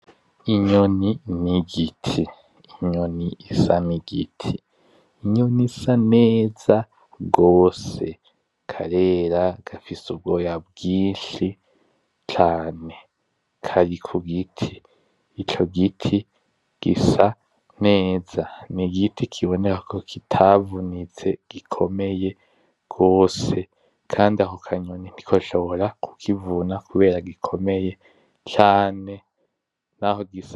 Inyoni nigiti, inyoni isa nigiti, nibisa neza gose, karera gafise ubwoya bwinshi cane, kari kugiti. Ico giti gisa neza, nigiti kiboneka ko kitavunitse gikomeye gose, kandi ako kanyoni ntikoshobora kukivuna kubera gikomeye cane naho gisa.